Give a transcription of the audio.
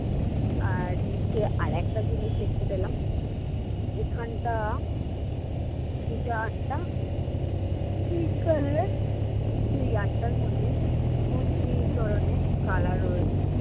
আর নিচে আরেকটা জিনিস দেখতে পেলাম এখানটা টা বিকালে কিন্তু এই art ধ্যঅটার মধ্যে অনেক ধরনের color রয়েছে।